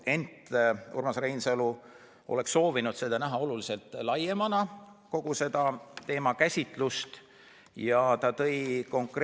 Ent Urmas Reinsalu oleks soovinud näha seda teemakäsitlust oluliselt laiemana.